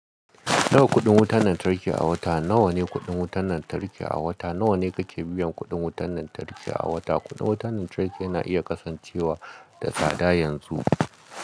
Nawa kuɗin wutan lantarki a wata? Na wane kuɗin wutan lantarki a wata? Na wane kake biyan kuɗin wutan lantarki a wata? Kuɗin wutan lantarki yana iya kasancewa da tsada yanzu.